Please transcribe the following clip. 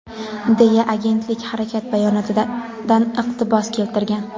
deya agentlik harakat bayonotidan iqtibos keltirgan.